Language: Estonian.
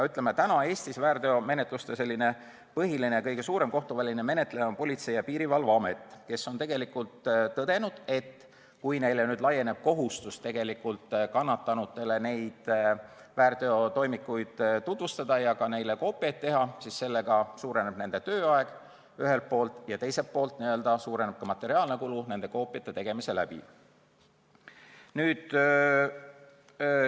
Eestis on praegu väärtegude põhiline ja kõige suurem kohtuväline menetleja Politsei- ja Piirivalveamet, kes on tõdenud, et kui neile laieneb nüüd kohustus kannatanutele väärteotoimikuid tutvustada ja ka koopiaid teha, siis pikeneb ühelt poolt nende tööaeg ja teiselt poolt kasvab materiaalne kulu nende koopiate tegemise tõttu.